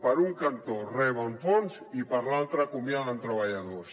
per un cantó reben fons i per l’altre acomiaden treballadors